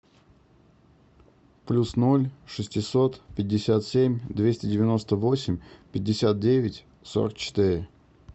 плюс ноль шестьсот пятьдесят семь двести девяносто восемь пятьдесят девять сорок четыре